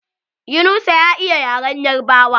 Yunusa ya iya yaren yarbawa.